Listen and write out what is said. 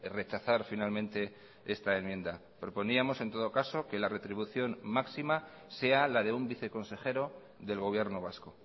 rechazar finalmente esta enmienda proponíamos en todo caso que la retribución máxima sea la de un viceconsejero del gobierno vasco